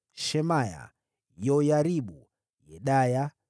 Shemaya, Yoyaribu, Yedaya,